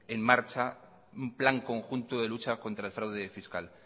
en marcha un plan conjunto de lucha contra el fraude fiscal